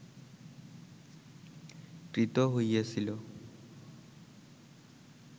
ক্রীত হইয়াছিল